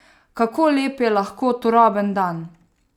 Kako lep je lahko turoben dan!